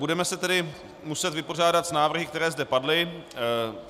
Budeme se tedy muset vypořádat s návrhy, které zde padly.